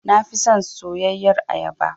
Na fi son soyayyar ayaba.